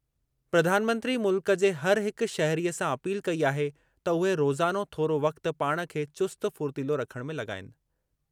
प्रधानमंत्री मुल्क जे हर हिक शहरीअ सां अपील कई आहे त उहे रोज़ानो थोरो वक़्ति पाण खे चुस्त फ़ुर्तीलो रखणु में लॻाईनि।